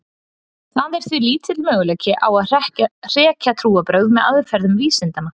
Það er því lítill möguleiki á að hrekja trúarbrögð með aðferðum vísindanna.